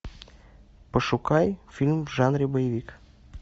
пошукай фильм в жанре боевик